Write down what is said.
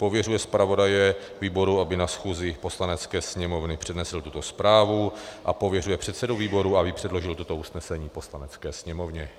Pověřuje zpravodaje výboru, aby na schůzi Poslanecké sněmovny přednesl tuto zprávu, a pověřuje předsedu výboru, aby předložil toto usnesení Poslanecké sněmovně.